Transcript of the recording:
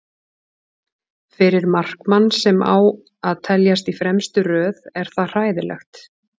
Fyrir markmann sem á að teljast í fremstu röð er það hræðilegt.